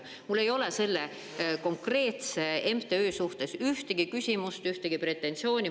Mul ei ole selle konkreetse MTÜ suhtes ühtegi küsimust, ühtegi pretensiooni.